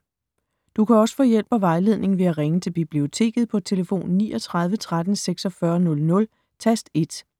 Du kan også få hjælp og vejledning ved at ringe til Biblioteket på tlf. 39 13 46 00, tast 1.